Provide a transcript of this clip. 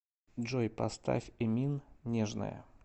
джой поставь эмин нежная